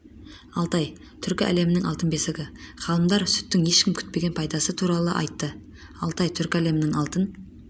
алтай түркі әлемінің алтын бесігі ғалымдар сүттің ешкім күтпеген пайдасы туралы айтты алтай түркі әлемінің алтын